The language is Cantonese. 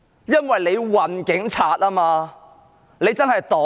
因為它運送警察，它真的是"黨鐵"。